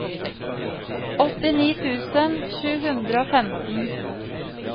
åttini tusen sju hundre og femten